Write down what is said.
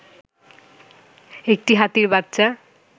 একটি হাতির বাচ্চা